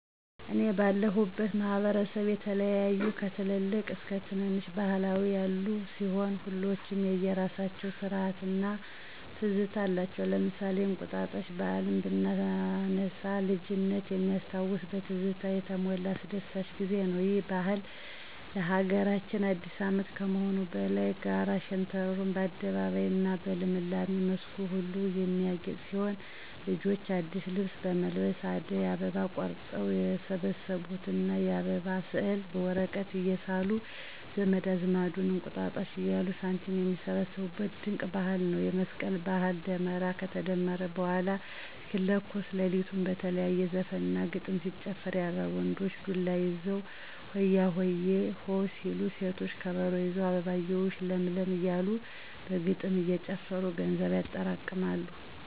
እኔ ባለሁበት ማህበረሰብ የተለያዩ ከትልልቅ እስከ ትነነሽ ባህላት ያሉ ሲሆን ሁሎችም የየራሳቸው ስርአት እና ትዝታ አላቸው። ለምሳሌ እንቁጣጣሽ ባህልን ብናነሳ ልጅነት ሚያስታውስ በትዝታ የተሞላ አስደሳች ጊዜ ነው። ይህ ባህል ለሀገራችን አዲስ አመት ከመሆኑም በላይ ጋራ ሸንተረሩ በአደይ አበባ እና በልምላሜ መስኩ ሁሉ የሚያጌጥ ሲሆን ልጆች አዲስ ልብስ በመልበስ አደይ አበባ ቆርጠው የሰበሰቡትን እና የአበባ ስዕል በወረቀት እየሳሉ ዘመድ አዝማዱን እንቁጣጣሽ እያሉ ሳንቲም ሚሰበስቡት ድንቅ ባህል ነው። የመስቀል ባህልም ደመራ ከተደመረ በኃላ እስኪለኮስ ለሊቱን በተለያየ ዘፈን እና ግጥም ሲጨፈር ያድራል። ወንዶች ዱላ ይዘው ሆያሆየ... ሆ ሲሉ ሴቶች ከበሮ ይዘው አበባየሁሽ ለምለም እያሉ በግጥም እየጨፈሩ ገንዘብ ያጠራቅማሉ።